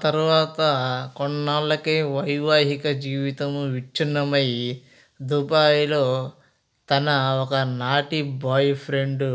తరువాత కొన్నాళ్లకే వైవాహిక జీవితం విచ్ఛిన్నమై దుబాయిలో తన ఒకనాటి బాయ్ ఫ్రెండ్